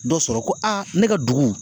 Dɔ sɔrɔ ko aa ne ka dugu